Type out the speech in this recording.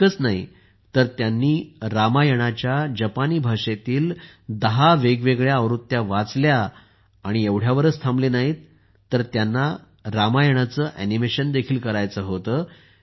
इतकेच नाही तर त्यांनी रामायणाच्या जपानी भाषेतील 10 वेगवेगळ्या आवृत्त्या वाचल्या आणि एवढ्यावरच ते थांबले नाहीत तर त्यांना रामायणाचे ऍनिमेशन देखील करायचे होते